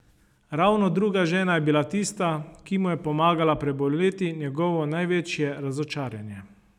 Ravno druga žena je bila tista, ki mu je pomagala preboleti njegovo največje razočaranje.